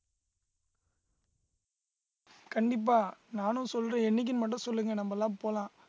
கண்டிப்பா நானும் சொல்றேன் என்னைக்குன்னு மட்டும் சொல்லுங்க நம்மெல்லாம் போலாம்